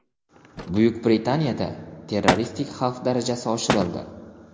Buyuk Britaniyada terroristik xavf darajasi oshirildi.